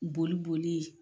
Boli bolii